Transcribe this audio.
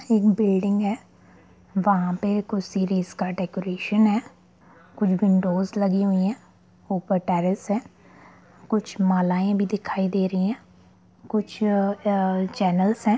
एक बिल्डिंग है वहां पे कुछ सीरीज का डेकोरेशन है कुछ विंडोज है ऊपर टाइल्स लगी हुई है कुछ मालाये भी दिखाई दे रही है कुछ ऐ चैनल्स है।